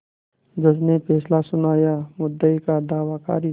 जज ने फैसला सुनायामुद्दई का दावा खारिज